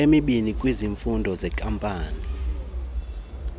emibini kwizifundo zeenkampani